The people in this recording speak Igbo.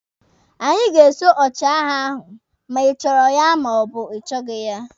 Anyị ga-eso ọchịagha a ma ịchọrọ ya ma ọ bụ ị chọghị ya!